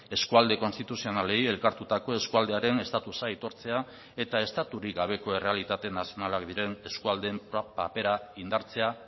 eskualde konstituzionalei elkartutako eskualdearen estatusa aitortzea eta estaturik gabeko errealitate nazionalak diren eskualdeen papera indartzea